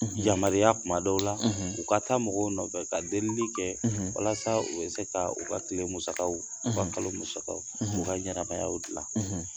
Yamariya kuma dɔw la u ka taa mɔgɔw nɔfɛ ka delili kɛ walasa u bɛ se k' u ka kile musakaw u ka kalo musakaw u ka ɲanamayaw gilan